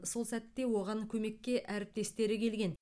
сол сәтте оған көмекке әріптестері келген